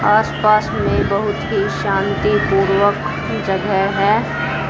आस पास मे बहोत ही शांतिपूर्वक की जगह है।